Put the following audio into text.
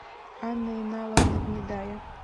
анна иналовна гнедая